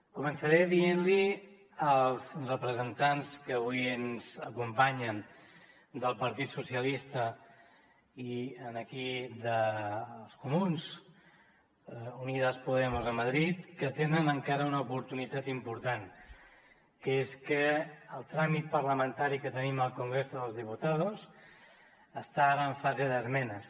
començaré dient als representants que avui ens acompanyen del partit socialista i dels comuns unidas podemos a madrid que tenen encara una oportunitat important que és que el tràmit parlamentari que tenim al congreso de los diputados està ara en fase d’esmenes